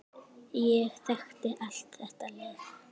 Ég þekki allt þetta lið.